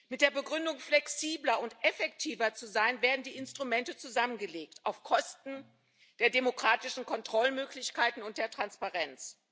Mit der Begründung, flexibler und effektiver zu sein, werden die Instrumente zusammengelegt auf Kosten der demokratischen Kontrollmöglichkeiten und der Transparenz.